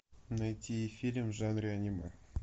найти фильм в жанре аниме